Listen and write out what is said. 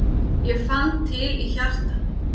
Ég fann til í hjartanu.